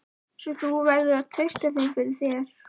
Svo þú verður að treysta þeim fyrir. þér.